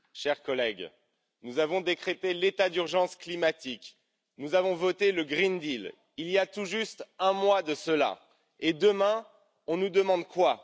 Madame la Présidente, chers collègues, nous avons décrété l'état d'urgence climatique, nous avons voté le pacte vert il y a tout juste un mois de cela et demain, on nous demande quoi?